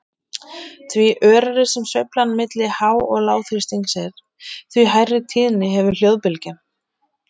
Því örari sem sveiflan milli há- og lágþrýstings er, því hærri tíðni hefur hljóðbylgjan.